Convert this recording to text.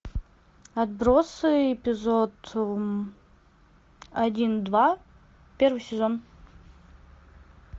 отбросы эпизод один два первый сезон